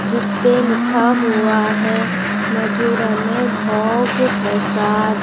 इस पे लिखा हुआ है मधुरमे भोग प्रसाद।